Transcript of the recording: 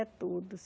É tudo.